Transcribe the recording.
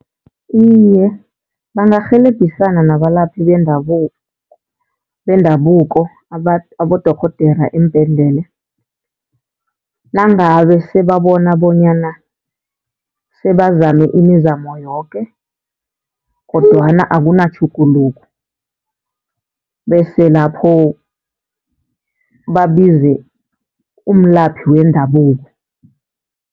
Iye, bangarhelebhisana nabalaphi bendabuko, abodorhodera embhedlela, nangabe sebabona bonyana sebazame imizamo yoke kodwana akunatjhuguluko. Bese lapho babize umlaphi wendabuko.